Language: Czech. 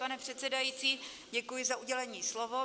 Pane předsedající, děkuji za udělení slova.